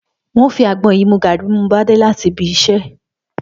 N óò fi àgbo̩n yìí mu gààrí bí mo bá dé láti ibi is̩é̩